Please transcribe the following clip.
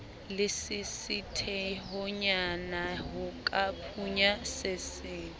lesisithehonyana ho ka phunya seso